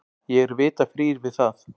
Ég er vita frír við það.